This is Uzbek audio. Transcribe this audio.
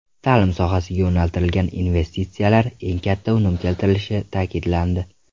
Ta’lim sohasiga yo‘naltirilgan investitsiyalar eng katta unum keltirishi ta’kidlandi.